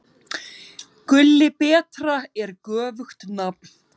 Gulli betra er göfugt nafn.